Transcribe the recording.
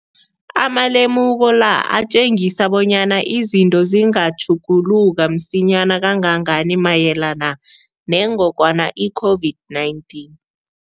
Amalemuko la atjengisa bonyana izinto zingatjhuguluka msinyana kangangani mayelana nengogwana i-COVID-19.